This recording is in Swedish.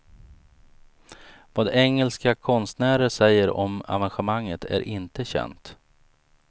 Vad engelska konstnärer säger om evenemanget är inte känt.